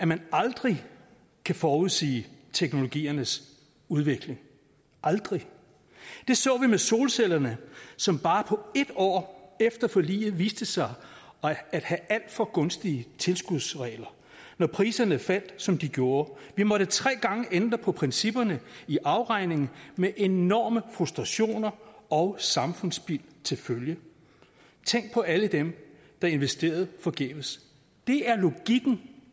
man aldrig kan forudsige teknologiernes udvikling aldrig det så vi med solcellerne som bare et år efter forliget viste sig at have alt for gunstige tilskudsregler når priserne faldt som de gjorde vi måtte tre gange ændre på principperne i afregningen med enorme frustrationer og samfundsspild til følge tænk på alle dem der investerede forgæves det er logikken